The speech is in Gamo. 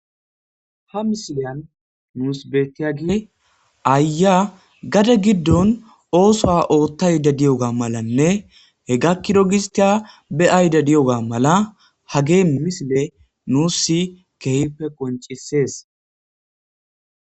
Ha misiliyan nuus beettiyagile aaya gade giddon oosoa ootta yde diyoga malanne he gakkido gistiya be7ayda diyoga mala hagee misile nuus si keehippe qoncisees